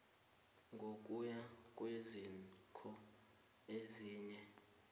ngokuya kweziko elinye